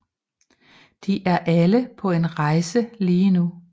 De er alle på en rejse lige nu